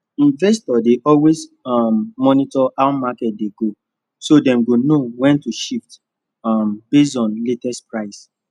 investors dey always um monitor how market dey go so them go know when to shift um based on latest price